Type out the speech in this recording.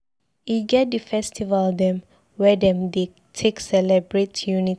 E get di festival dem wey dem dey take celebrate unity.